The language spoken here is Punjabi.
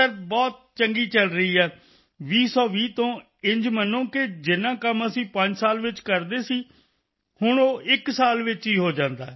ਸਰ ਬਹੁਤ ਚੰਗੀ ਚਲ ਰਹੀ ਹੈ 2020 ਤੋਂ ਇੰਝ ਮੰਨੋ ਕਿ ਜਿੰਨਾ ਕੰਮ ਅਸੀਂ ਪੰਜ ਸਾਲ ਵਿੱਚ ਕਰਦੇ ਸੀ ਹੁਣ ਉਹ ਇਕ ਸਾਲ ਵਿੱਚ ਹੀ ਹੋ ਜਾਂਦਾ ਹੈ